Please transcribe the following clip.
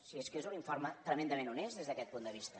si és que és un informe tremendament honest des d’aquest punt de vista